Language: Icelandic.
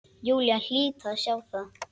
Júlía hlyti að sjá það.